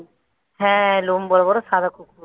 হ্যাঁ লোম বড় বড় সাদা কুকুর,